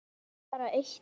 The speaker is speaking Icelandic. En bara eitt bein.